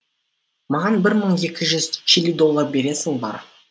маған бір мың екі жүз чили доллар бересің ба